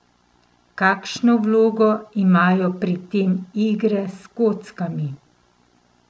Kakšno vlogo imajo pri tem igre s kockami?